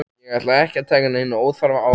Ég ætla ekki að taka neina óþarfa áhættu,